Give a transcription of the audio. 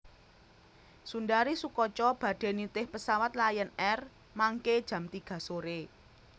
Sundari Soekotjo badhe nitih pesawat Lion Air mangke jam tiga sore